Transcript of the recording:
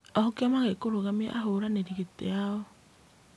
O kĩama gĩkĩrũgamia ahũranĩri gĩtĩ ao